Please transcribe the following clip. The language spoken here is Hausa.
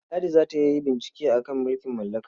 Ladi za ta yi bincike a kan mulkin mallaka.